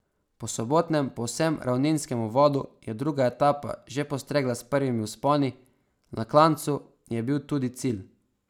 Po sobotnem povsem ravninskem uvodu je druga etapa že postregla s prvimi vzponi, na klancu je bil tudi cilj.